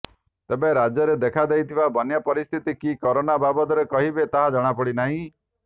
ତେବେ ରାଜ୍ୟରେ ଦେଖା ଦେଇଥିବା ବନ୍ୟା ପରିସ୍ଥିତି କି କରୋନା ବାବଦରେ କହିବେ ତାହା ଜଣାପଡ଼ି ନାହିଁ